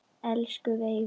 Elsku Veiga.